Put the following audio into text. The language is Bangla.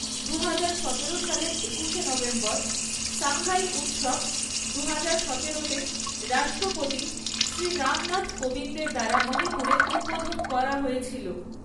দুহাজার সতেরো সালের একুশে নভেম্বর, সাঙ্গাই উৎসব দুহাজার সতেরো তে রাষ্ট্রপতি শ্রী রামনাথ কোবিন্দের দ্বারা মণিপুরে উদ্বোধন করা হয়েছিল।